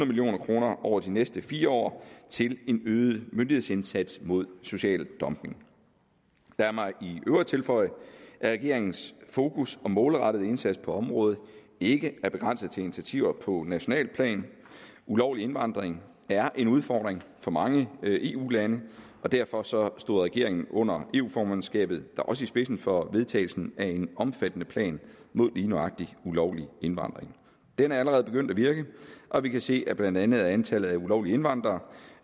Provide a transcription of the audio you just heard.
million kroner over de næste fire år til en øget myndighedsindsats mod social dumping lad mig i øvrigt tilføje at regeringens fokus og målrettede indsats på området ikke er begrænset til initiativer på nationalt plan ulovlig indvandring er en udfordring for mange eu lande og derfor stod regeringen under eu formandskabet da også i spidsen for vedtagelsen af en omfattende plan mod lige nøjagtig ulovlig indvandring den er allerede begyndt at virke og vi kan se at blandt andet antallet af ulovlige indvandrere